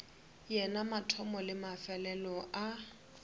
yena mathomo le mefelelo a